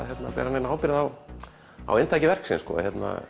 neina ábyrgð á á inntaki verksins sko